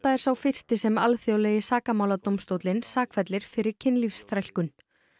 er sá fyrsti sem alþjóðlegi sakamáladómstóllinn sakfellir fyrir kynlífsþrælkun